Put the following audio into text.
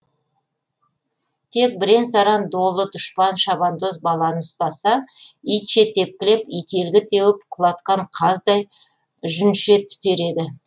тек бірен саран долы дұшпан шабандоз баланы ұстаса итше тепкілеп ителгі теуіп құлатқан қаздай жүнше түтер еді